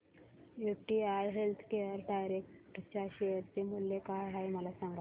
UTI healthcare direct च्या share चे मूल्य काय आहे मला सांगा